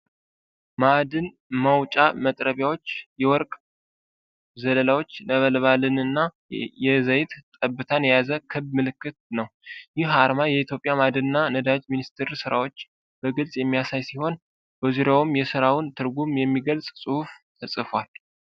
ማዕድን ማውጫ መጥረቢያዎችን፣ የወርቅ ዘለላዎችን፣ ነበልባልንና የዘይት ጠብታን የያዘ ክብ ምልክት ነው። ይህ አርማ የኢትዮጵያ ማዕድንና ነዳጅ ሚኒስቴርን ሥራዎች በግልጽ የሚያሳይ ሲሆን፤ በዙሪያውም የሥራውን ትርጉም የሚገልጽ ጽሑፍ ተጽፏል።